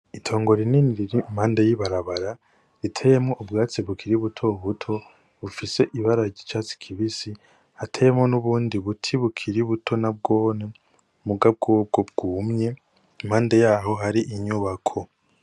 Itongo rinini riri impande y' ibarabara riteyemwo ubwatsi bukiri buto buto bufise ibara ry'icatsi kibisi hateyemwo n' ubundi buti bukiri buto nabwone muga bwobwo bwumye impande yaho hari inyubako.